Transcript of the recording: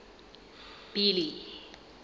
billy